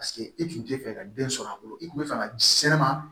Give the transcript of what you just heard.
Paseke e tun tɛ fɛ ka den sɔrɔ a bolo i kun bɛ fɛ ka ji sɛnɛnɛma